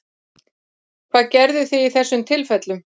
Hvað gerðuð þið í þessum tilfellum?